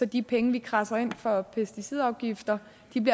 de penge vi kradser ind for pesticidafgifter